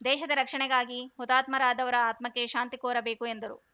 ದೇಶದ ರಕ್ಷಣೆಗಾಗಿ ಹುತಾತ್ಮರಾದವರ ಆತ್ಮಕ್ಕೆ ಶಾಂತಿ ಕೋರಬೇಕು ಎಂದರು